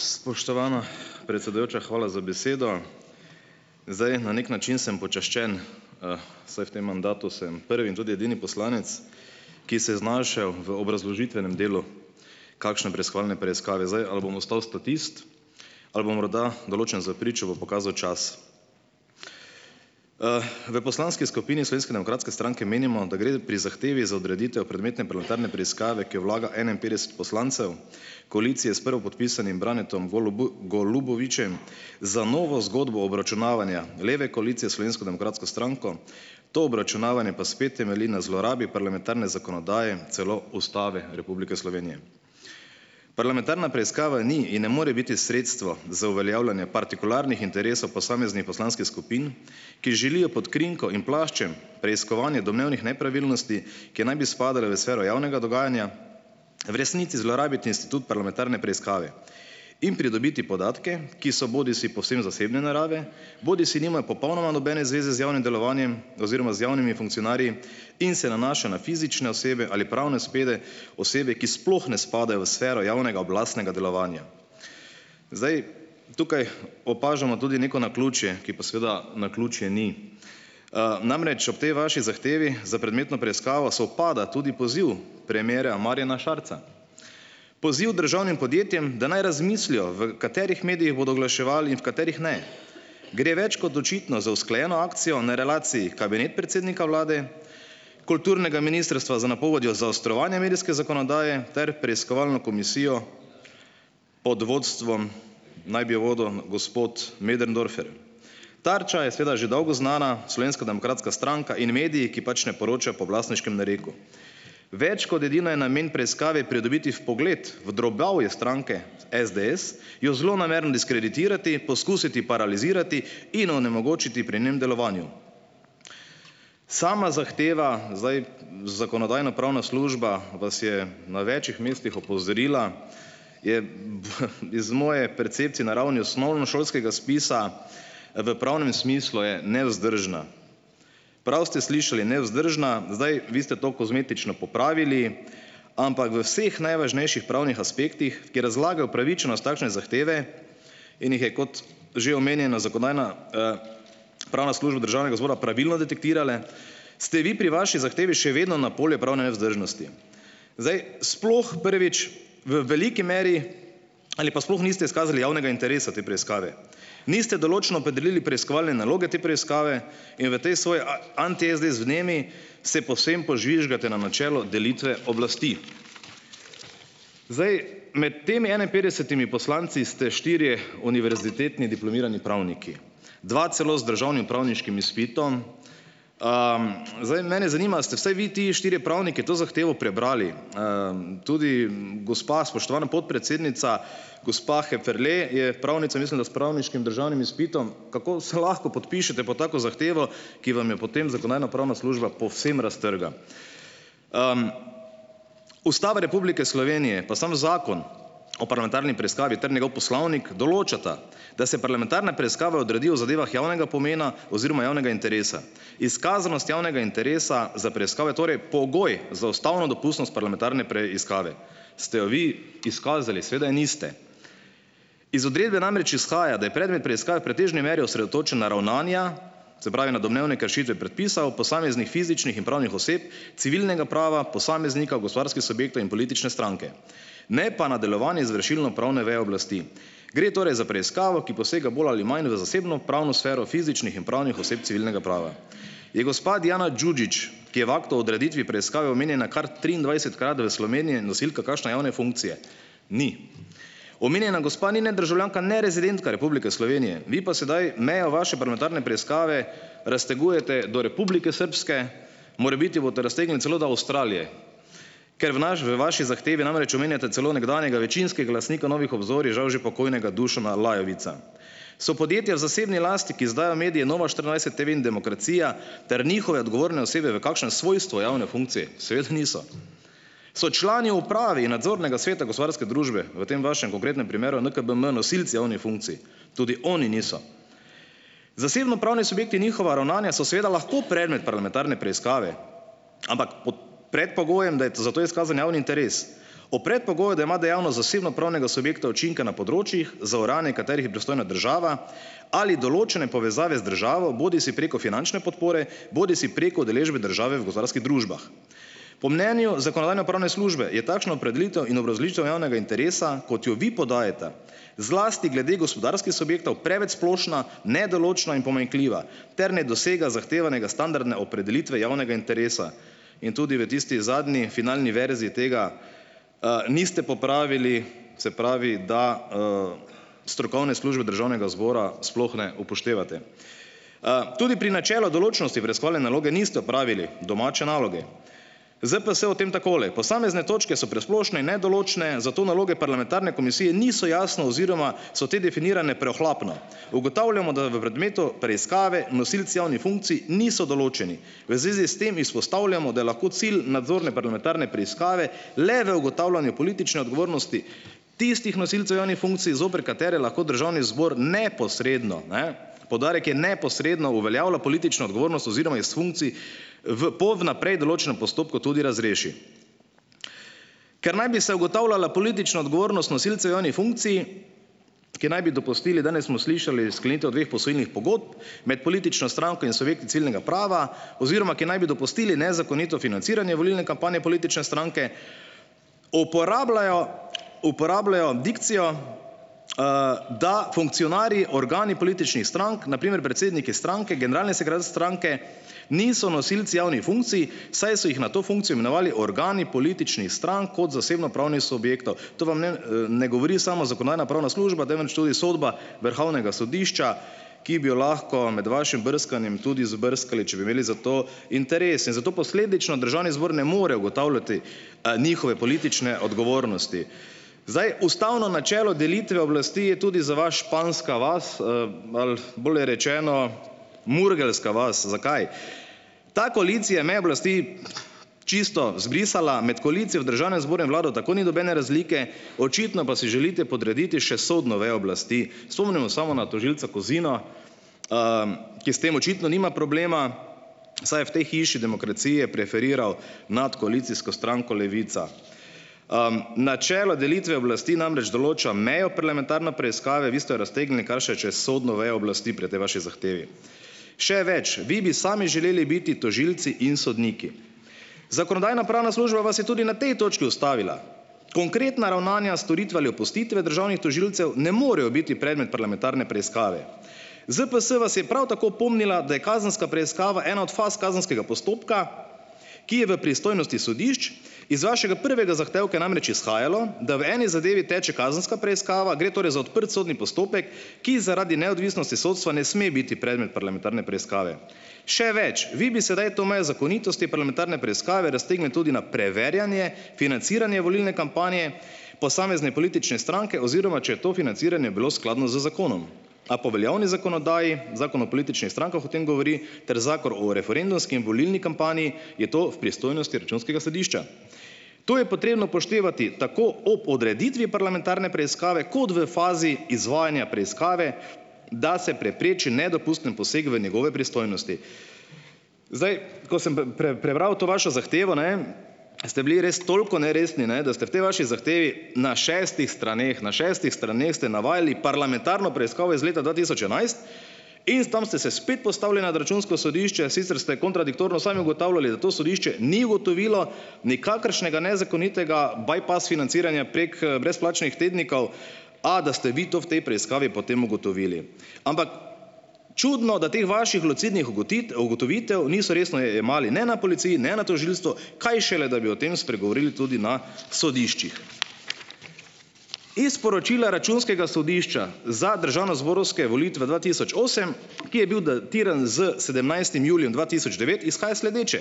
Spoštovana predsedujoča, hvala za besedo. Zdaj na neki način sem počaščen, saj v tem mandatu sem prvi in tudi edini poslanec, ki se je znašel v obrazložitvenem delu kakšne preiskovalne preiskave. Zdaj, ali bom ostal statist ali bom morda določen za pričo, bo pokazal čas. v Poslanski skupini Slovenske demokratske stranke menimo, da gre pri zahtevi za odreditev prometne parlamentarne preiskave, ki jo vlaga enainpetdeset poslancev koalicije s prvopodpisanim Branetom Golubovičem, za novo zgodbo obračunavanja leve koalicije s Slovensko demokratsko stranko, to obračunavanje pa spet temelji na zlorabi parlamentarne zakonodaje, celo Ustave Republike Slovenije. Parlamentarna preiskava ni in ne more biti sredstvo za uveljavljanje partikularnih interesov posameznih poslanskih skupin, ki želijo pod krinko in plaščem preiskovanja domnevnih nepravilnosti, ki naj bi spadale v sfero javnega dogajanja, v resnici zlorabiti institut parlamentarne preiskave in pridobiti podatke, ki so bodisi povsem zasebne narave bodisi nimajo popolnoma nobene zveze z javnim delovanjem oziroma z javnimi funkcionarji in se nanašajo na fizične osebe ali pravne osebe, ki sploh ne spadajo v sfero javnega oblastnega delovanja. Zdaj tukaj opažamo tudi neko naključje, ki pa seveda naključje ni. Namreč, ob tej vaši zahtevi za predmetno preiskavo sovpada tudi poziv premierja Marjana Šarca, poziv državnim podjetjem, da naj razmislijo, v katerih medijih bodo oglaševali in v katerih ne. Gre več kot očitno za usklajeno akcijo na relaciji kabinet predsednika vlade, kulturnega ministrstva z napovedjo zaostrovanja medijske zakonodaje ter preiskovalno komisijo pod vodstvom, naj bi jo vodil gospod Möderndorfer. Tarča je seveda že dolgo znana, Slovenska demokratska stranka in mediji, ki pač ne poročajo po oblastniškem nareku. Več kot edino je namen preiskave pridobiti vpogled v drobovje stranke SDS, jo zlonamerno diskreditirati, poskusiti paralizirati in onemogočiti pri njenem delovanju. Sama zahteva - zdaj Zakonodajno-pravna služba vas je na več mestih opozorila - je iz moje percepcije na ravni osnovnošolskega spisa, v pravnem smislu je nevzdržna, prav ste slišali, nevzdržna. Zdaj, vi ste to kozmetično popravili, ampak v vseh najvažnejših pravnih aspektih, ki razlagajo pravičnost takšne zahteve in jih je, kot že omenjeno, Zakonodajna pravna služba Državnega zbora pravilno detektirala, ste vi pri vaši zahtevi še vedno na polje pravne nevzdržnosti. Zdaj, sploh prvič, v veliki meri ali pa sploh niste izkazali javnega interesa te preiskave. Niste določno opredelili preiskovalne naloge te preiskave in v tej svoji anti-SDS vnemi se povsem požvižgate na načelo delitve oblasti. Zdaj, med temi enainpetdesetimi poslanci ste štirje univerzitetni diplomirani pravniki, dva celo z državnim pravniškim izpitom. Zdaj mene zanima, a ste vsaj vi ti štirje pravniki to zahtevo prebrali. Tudi, gospa spoštovana podpredsednica, gospa Heferle, je pravnica, mislim, da s pravniškim državnim izpitom - kako se lahko podpišete pod tako zahtevo, ki vam jo potem Zakonodajno-pravna služba povsem raztrga? Ustava Republike Slovenije pa sam Zakon o parlamentarni preiskavi ter njegov poslovnik določata, da se parlamentarna preiskava odredi o zadevah javnega pomena oziroma javnega interesa. Izkazanost javnega interesa za preiskavo je torej pogoj za ustavno dopustnost parlamentarne preiskave. Ste jo vi izkazali? Seveda je niste. Iz odredbe namreč izhaja, da je predmet preiskave v pretežni meri osredotočen na ravnanja, se pravi, na domnevne kršitve predpisov posameznih fizičnih in pravnih oseb, civilnega prava, posameznika, gospodarskih subjektov in politične stranke, ne pa na delovanje izvršilnopravne veje oblasti. Gre torej za preiskavo, ki posega bolj ali manj v zasebnopravno sfero fizičnih in pravnih oseb civilnega prava. In gospa Dijana Đuđić, ki je v aktu o odreditvi preiskave omenjena kar triindvajsetkrat, da je v Sloveniji nosilka kakšne javne funkcije - ni. Omenjena gospa ni ne državljanka ne rezidentka Republike Slovenije, vi pa sedaj meja vaše parlamentarne preiskave raztegujete do Republike Srbske, morebiti boste raztegnili celo do Avstralije, ker v v vaši zahtevi namreč omenjate celo nekdanjega večinskega lastnika Novih obzorij, žal že pokojnega Dušana Lajovica. So podjetja v zasebni lasti, ki izdajajo medije, Nova štiriindvajset TV in Demokracija, ter njihove odgovorne osebe v kakšnem svojstvu javne funkcije? Seveda niso. So člani uprave in nadzornega sveta gospodarske družbe, v tem vašem konkretnem primeru NKBM nosilci javnih funkcij? Tudi oni niso. Zasebnopravni subjekti in njihova ravnanja so seveda lahko predmet parlamentarne preiskave, ampak pod predpogojem, da je za to izkazan javni interes. Ob predpogoju, da ima dejavnost zasebnopravnega subjekta učinke na področjih, za urejanje katerih je pristojna država, ali določene povezave z državo, bodisi preko finančne podpore bodisi preko udeležbe države v gospodarskih družbah. Po mnenju Zakonodajno-pravne službe je takšna opredelitev in obrazložitev javnega interesa, kot jo vi podajate, zlasti glede gospodarskih subjektov, preveč splošna, nedoločno in pomanjkljiva ter ne dosega zahtevanega standardna opredelitve javnega interesa. In tudi v tisti zadnji finalni verziji tega niste popravili, se pravi, da strokovne službe Državnega zbora sploh ne upoštevate. Tudi pri načelu določnosti raziskovalne naloge niste opravili domače naloge. ZPS o tem takole: "Posamezne točke so presplošne in nedoločne, zato naloge parlamentarne komisije niso jasno oziroma so te definirane preohlapno. Ugotavljamo, da v predmetu preiskave, nosilci javnih funkcij niso določeni. V zvezi s tem izpostavljamo, da je lahko cilj nadzorne parlamentarne preiskave le v ugotavljanju politične odgovornosti tistih nosilcev javnih funkcij, zoper katere lahko Državni zbor neposredno, ne, poudarek je neposredno, uveljavlja politično odgovornost oziroma iz funkcij v po vnaprej določenem postopku tudi razreši." Ker naj bi se ugotavljala politična odgovornost nosilcev javnih funkcij, ki naj bi dopustili, danes smo slišali, sklenitev dveh posojilnih pogodb, med politično stranko in subjekti ciljnega prava, oziroma ki naj bi dopustili nezakonito financiranje volilne kampanje politične stranke, uporabljajo uporabljajo dikcijo, da funkcionarji organi političnih strank, na primer predsedniki stranke, generalni sekretar stranke, niso nosilci javnih funkcij, saj so jih na to funkcijo imenovali organi političnih strank kot zasebnopravne subjektov. To vam ne ne govori samo Zakonodajna-pravna služba, temveč tudi sodba Vrhovnega sodišča, ki bi jo lahko med vašim brskanjem tudi izbrskali, če bi imeli za to interes. In zato posledično, Državni zbor ne more ugotavljati njihove politične odgovornosti. Zdaj, ustavno načelo delitve oblasti je tudi za vas španska vas ali, bolje rečeno, "murgelska vas". Zakaj? Ta koalicija je meje oblasti čisto zbrisala. Med koalicijo v Državnem zboru in vlado tako ni nobene razlike, očitno pa si želite podrediti še sodno vejo oblasti. Spomnimo samo na tožilca Kozina, ki s tem očitno nima problema, saj je v tej hiši demokracije preferiral notri koalicijsko stranko Levica. Načelo delitve oblasti namreč določa mejo parlamentarne preiskave, vi ste jo raztegnili kar še čez sodno vejo oblasti pri tej vaši zahtevi. Še več, vi bi sami želeli biti tožilci in sodniki. Zakonodajno-pravna služba vas je tudi na tej točki ustavila. Konkretna ravnanja storitve ali opustitve državnih tožilcev ne morejo biti predmet parlamentarne preiskave. ZPS vas je prav tako opomnila, da je kazenska preiskava ena od faz kazenskega postopka, ki je v pristojnosti sodišč. Iz vašega prvega zahtevka je namreč izhajalo, da v eni zadevi teče kazenska preiskava, gre torej za odprt sodni postopek, ki zaradi neodvisnosti sodstva ne sme biti predmet parlamentarne preiskave. Še več, vi bi sedaj to mejo zakonitosti parlamentarne preiskave raztegnili tudi na preverjanje financiranje volilne kampanje, posamezne politične stranke, oziroma če je to financiranje bilo skladno z zakonom. A po veljavni zakonodaji, Zakon o političnih strankah, o tem govori, ter Zakon o referendumski in volilni kampanji, je to v pristojnosti Računskega sodišča. Tu je potrebno upoštevati tako o podreditvi parlamentarne preiskave kot v fazi izvajanja preiskave, da se prepreči nedopusten poseg v njegove pristojnosti. Zdaj, ko sem prebral to vašo zahtevo, ne, ste bili res toliko neresni, ne, da ste v tej vaši zahtevi na šestih straneh, na šestih straneh ste navajali parlamentarno preiskavo iz leta dva tisoč enajst in s tam ste se spet postavili nad Računsko sodišče, sicer ste kontradiktorno sami ugotavljali, da to sodišče ni ugotovilo nikakršnega nezakonitega "by pass" financiranja prek brezplačnih tednikov, a da ste vi to v tej preiskavi potem ugotovili. Ampak, čudno, da teh vaših lucidnih ugotovitev niso resno jemali ne na policiji ne na tožilstvu, kaj šele da bi o tem spregovoril tudi na sodiščih. Iz poročila Računskega sodišča za državnozborske volitve dva tisoč osem, ki je bil datiran s sedemnajstim julijem dva tisoč devet, izhaja sledeče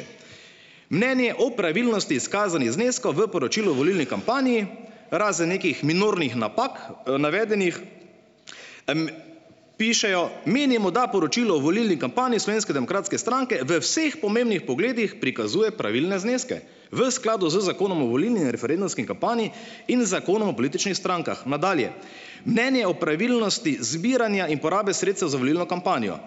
- mnenje o pravilnosti izkazanih zneskov v poročilu o volilni kampanji, razen nekih minornih napak, navedenih, pišejo, "menimo, da poročilo o volilni kampanji Slovenske demokratske stranke, v vseh pomembnih pogledih prikazuje pravilne zneske, v skladu z Zakonom o volilni in referendumski kampanji in Zakonom o političnih strankah". Nadalje, mnenje o pravilnosti zbiranja in porabe sredstev za volilno kampanjo.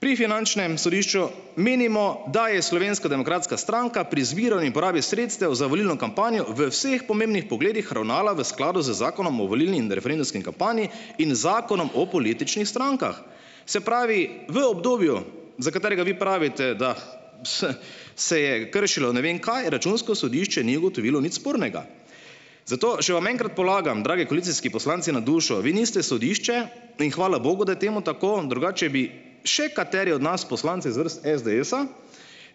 "Pri finančnem sodišču menimo, da je Slovenska demokratska stranka pri izbiro in porabi sredstev za volilno kampanjo v vseh pogledih pomembnih ravnala v skladu z Zakonom o volilni in referendumski kampanji in Zakonom o političnih strankah." Se pravi, v obdobju, za katerega vi pravite, da se je kršilo ne vem kaj, Računsko sodišče ni ugotovilo nič spornega. Zato, še vam enkrat polagam, dragi koalicijski poslanci na dušo - vi niste sodišče in hvala Bogu, da je temu tako, drugače bi še kateri od nas, poslancev z vrst SDS-a,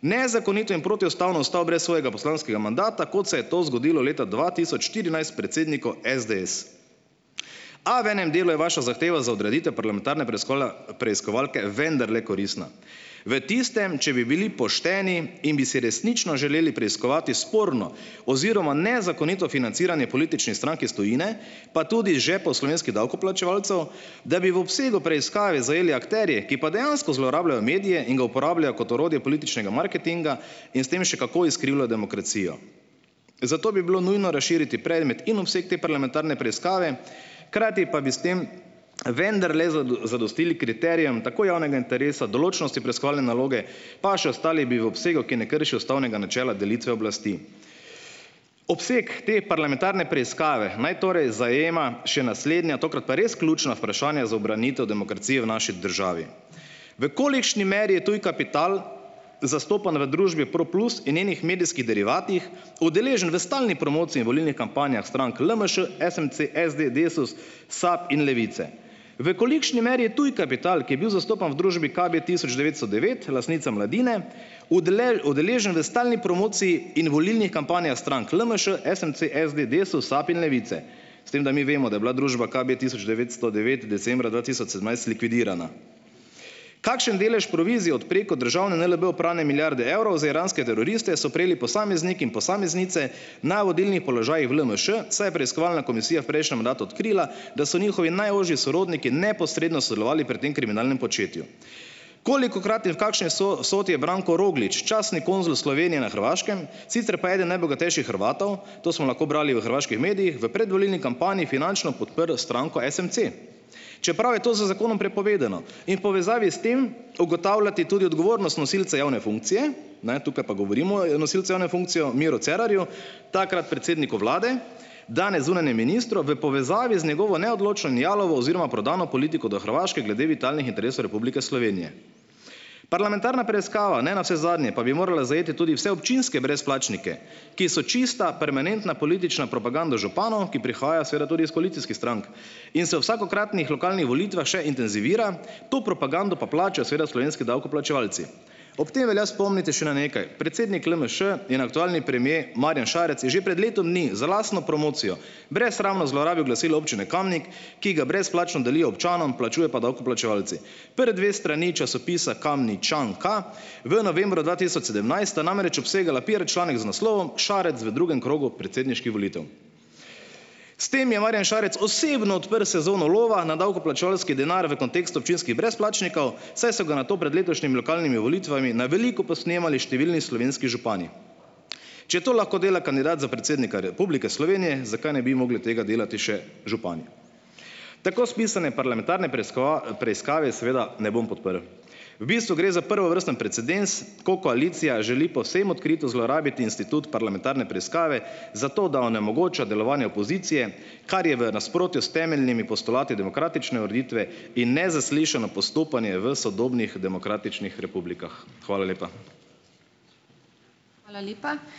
nezakonito in protiustavno ostal brez svojega poslanskega mandata, kot se je to zgodilo leta dva tisoč štirinajst predsedniku SDS. A v enem delu je vaša zahteva za odreditev parlamentarne preiskovala preiskovalke vendarle koristna. V tistem, če bi bili pošteni in bi si resnično želeli preiskovati sporno oziroma nezakonito financiranje političnih strank iz tujine, pa tudi žepov slovenskih davkoplačevalcev, da bi v obsegu preiskave zajeli akterje, ki pa dejansko zlorabljajo medije in ga uporabljajo kot orodje političnega marketinga in s tem še kako izkrivlja demokracijo. Zato bi bilo nujno razširiti predmet in obseg te parlamentarne preiskave, hkrati pa bi s tem vendarle zadostili kriterijem tako javnega interesa, določnosti preiskovalne naloge, pa še ostali bi v obsegu, ki ne krši ustavnega načela delitve oblasti. Obseg te parlamentarne preiskave naj torej zajema še naslednja, tokrat pa res ključna vprašanja za ubranitev demokracije v naši državi. V kolikšni meri je tuj kapital zastopan v družbi Proplus in njenih medijskih derivatih, udeležen v stalni promociji in volilnih kampanjah strank LMŠ, SMC, SD, DESUS, SAB in Levice. V kolikšni meri je tuj kapital, ki je bil zastopan v družbi KBtisoč devetsto devet, lastnica Mladine, udeležen v stalni promociji in volilnih kampanjah strank LMŠ, SMC, SD, DESUS, SAB in Levice. S tem da mi vemo, da je bila družba KBtisoč devetsto devet decembra dva tisoč sedemnajst likvidirana. Kakšen delež provizije od preko državne NLB oprane milijarde evrov za iranske teroriste so prejeli posamezniki in posameznice na vodilnih položajih v LMŠ, saj je preiskovalna komisija v prejšnjem mandatu odkrila, da so njihovi najožji sorodniki neposredno sodelovali pri tem kriminalnem početju. Kolikokrat in v kakšni vsoti je Branko Roglič, častni konzul Slovenije na Hrvaškem, sicer pa eden najbogatejših Hrvatov, to smo lahko brali v hrvaških medijih v predvolilni kampanji finančno podprl stranko SMC. Čeprav je to z zakonom prepovedano, in v povezavi s tem ugotavljati tudi odgovornost nosilcev javne funkcije, ne, tukaj pa govorimo o nosilcu javno funkcijo, o Miru Cerarju, takrat predsedniku vlade, danes zunanjem ministru, v povezavi z njegovo neodločno in jalovo oziroma prodano politiko do Hrvaške glede vitalnih interesov Republike Slovenije. Parlamentarna preiskava ne navsezadnje pa bi morala zajeti tudi vse občinske brezplačnike, ki so čista permanentna politična propaganda županov, ki prihajajo, seveda, tudi iz koalicijskih strank in se vsakokratnih lokalnih volitvah še intenzivira, to propagando pa plačajo seveda slovenski davkoplačevalci. Ob tem velja spomniti še na nekaj. Predsednik LMŠ in aktualni premier Marjan Šarec je že pred letom dni za lastno promocijo brez sramno zlorabil glasilo občine Kamnik, ki ga brezplačno delijo občanom, plačuje pa davkoplačevalci. Prvi dve strani časopisa Kamničanka v novembru dva tisoč sedemnajst sta namreč obsegala piar članek z naslovom Šarec v drugem krogu predsedniških volitev. S tem je Marjan Šarec osebno odprl sezono lova na davkoplačevalski denar v kontekstu občinskih brezplačnikov, saj so ga na to pred letošnjim lokalnimi volitvami na veliko posnemali številni slovenski župani. Če to lahko dela kandidat za predsednika Republike Slovenije, zakaj ne bi mogli tega delati še župani. Tako spisane parlamentarne preiskave seveda ne bom podprl. V bistvu gre za prvovrsten precedens, ko koalicija želi povsem odkrito zlorabiti institut parlamentarne preiskave zato, da onemogoča delovanje opozicije, kar je v nasprotju s temeljnimi postulati demokratične ureditve in nezaslišano postopanje v sodobnih demokratičnih republikah. Hvala lepa.